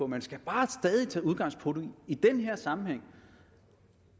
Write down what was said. man skal bare stadig tage udgangspunkt i i den her sammenhæng